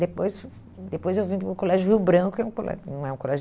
Depois depois eu vim para o Colégio Rio Branco, que é um colégio, não é um colégio